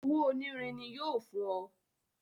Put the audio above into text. Owó onírin ní yóò fún ọ